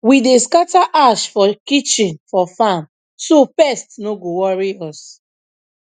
we dey scatter ash from kitchen for farm so pest no go worry us